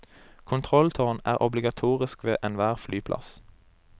Kontrolltårn er obligatorisk ved enhver flyplass.